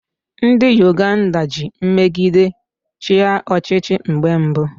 Ndị Uganda ji mmegide chịa ọchịchị mgbe mbụ